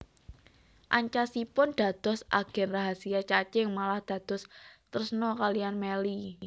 Ancasipun dados agen rahasiya Cacing malah dados tresna kaliyan Melly